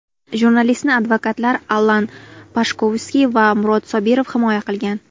Jurnalistni advokatlar Allan Pashkovskiy va Murod Sobirov himoya qilgan.